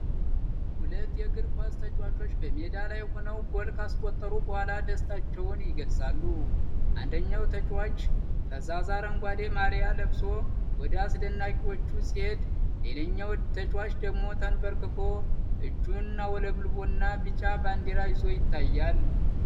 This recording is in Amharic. ሁለት የእግር ኳስ ተጫዋቾች በሜዳ ላይ ሆነው ጎል ካስቆጠሩ በኋላ ደስታቸውን ይገልፃሉ። አንደኛው ተጫዋች ፈዛዛ አረንጓዴ ማልያ ለብሶ ወደ አድናቂዎቹ ሲሄድ፣ ሌላኛው ተጫዋች ደግሞ ተንበርክኮ፣ እጁን አውለብልቦና ቢጫ ባንዲራ ይዞ ይታያል።